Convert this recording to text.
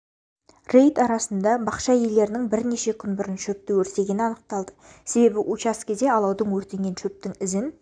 рейд арысында бақша иелерінің бірнеше күн бұрын шөпті өртегені анықталды себебі учаскеде алаудың өртенген шөптің ізін